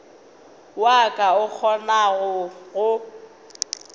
wa ka o kgonago go